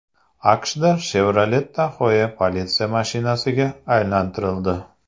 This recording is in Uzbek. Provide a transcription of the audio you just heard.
AQShda Chevrolet Tahoe politsiya mashinasiga aylantirildi.